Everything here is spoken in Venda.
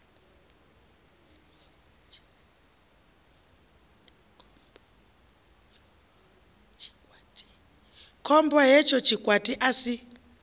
khombo hetsho tshikwati a si